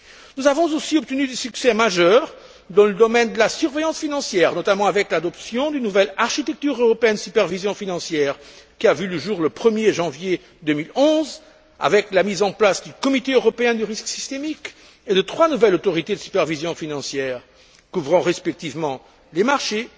Nous avons aussi obtenu des succès majeurs dans le domaine de la surveillance financière, notamment avec l'adoption d'une nouvelle architecture européenne de supervision financière qui a vu le jour le 1er janvier 2011 avec la mise en place du comité européen du risque systémique et de trois nouvelles autorités de supervision financière couvrant respectivement les marchés,